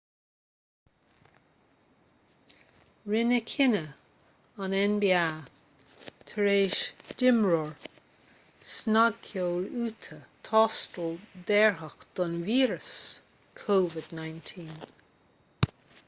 rinneadh cinneadh an nba tar éis d'imreoir snagcheoil utah tástáil dearfach don víreas covid-19